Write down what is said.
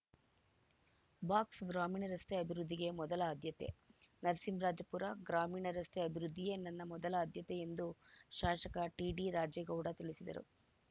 box ಗ್ರಾಮೀಣ ರಸ್ತೆ ಅಭಿವೃದ್ಧಿಗೆ ಮೊದಲ ಆದ್ಯತೆ ನರಸಿಂಹರಾಜಪುರ ಗ್ರಾಮೀಣ ರಸ್ತೆ ಅಭಿವೃದ್ದಿಯೇ ನನ್ನ ಮೊದಲ ಆದ್ಯತೆ ಎಂದು ಶಾಸಕ ಟಿಡಿ ರಾಜೇಗೌಡ ತಿಳಿಸಿದರು